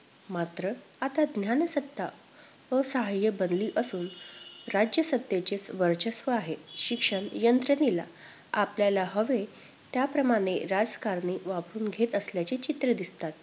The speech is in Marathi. मात्र आता ज्ञानसत्ता असहाय्य बनली असून राज्यसत्तेचेच वर्चस्व आहे. शिक्षणयंत्रणेला, आपल्याला हवे त्याप्रमाणे राजकारणी वापरुन घेत असल्याची चित्रं दिसतात.